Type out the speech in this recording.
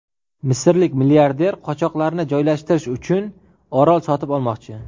Misrlik milliarder qochoqlarni joylashtirish uchun orol sotib olmoqchi.